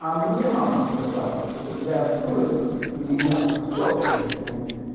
а мне мама сказала что когда я вырасту у меня сто таких будет